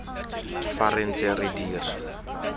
fa re ntse re dira